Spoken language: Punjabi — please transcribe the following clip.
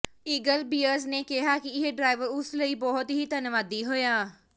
ਈਗਲ ਬੀਅਰਜ਼ ਨੇ ਕਿਹਾ ਕਿ ਇਹ ਡਰਾਈਵਰ ਉਸ ਲਈ ਬਹੁਤ ਹੀ ਧੰਨਵਾਦੀ ਹੋਇਆ